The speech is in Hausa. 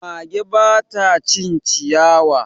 Mage ba ta cin ciyawa.